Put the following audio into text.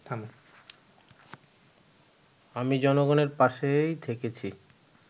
আমি জনগণের পাশেই থেকেছি